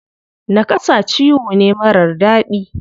Naƙasa ciwo ne marar daɗi.